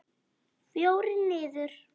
Fjórir niður.